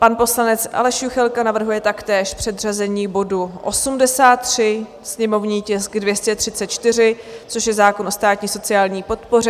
Pan poslanec Aleš Juchelka navrhuje taktéž předřazení bodu 83, sněmovní tisk 234, což je zákon o státní sociální podpoře.